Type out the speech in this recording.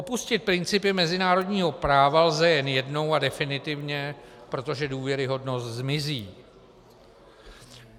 Opustit principy mezinárodního práva lze jen jednou a definitivně, protože důvěryhodnost zmizí.